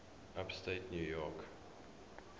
upstate new york